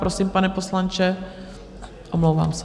Prosím, pane poslanče, omlouvám se.